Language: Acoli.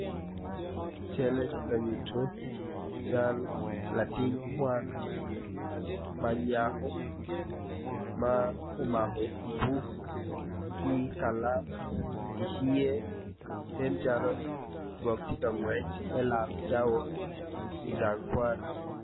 Calle tye ka nyuto , awobi eni kono tye ma oruko long ma bule en kono tye ma oruko gin blue i cinge en kono tye ka dongo taya gwok tye ka ngwec me laro cawa i gang kwan.